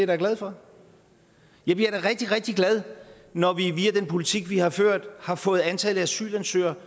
da glad for jeg bliver da rigtig rigtig glad når vi via den politik vi har ført har fået antallet af asylansøgere